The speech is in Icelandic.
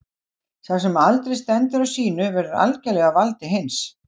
Sá sem aldrei stendur á sínu verður algerlega á valdi hins.